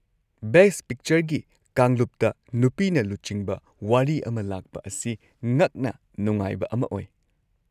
Best ꯄꯤꯛꯆꯔꯒꯤ ꯀꯥꯡꯂꯨꯞꯇ ꯅꯨꯄꯤꯅ-ꯂꯨꯆꯤꯡꯕ ꯋꯥꯔꯤ ꯑꯃ ꯂꯥꯛꯄ ꯑꯁꯤ ꯉꯛꯅ ꯅꯨꯡꯉꯥꯏꯕ ꯑꯃ ꯑꯣꯏ꯫